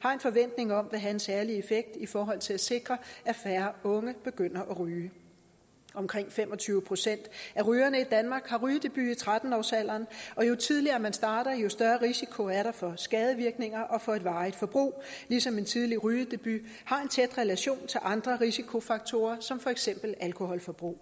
har en forventning om vil have en særlig effekt i forhold til at sikre at færre unge begynder at ryge omkring fem og tyve procent af rygerne i danmark har rygedebut i tretten årsalderen og jo tidligere man starter jo større risiko er der for skadevirkninger og for et varigt forbrug ligesom en tidlig rygedebut har en tæt relation til andre risikofaktorer som for eksempel alkoholforbrug